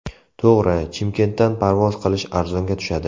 To‘g‘ri, Chimkentdan parvoz qilish arzonga tushadi.